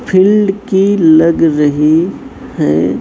Field की लग रही है।